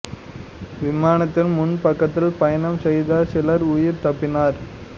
விமானத்தில் முன் பக்கத்தில் பயணம் செய்த சிலர் உயிர் தப்பினர்